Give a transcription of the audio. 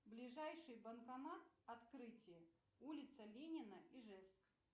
ближайший банкомат открытие улица ленина ижевск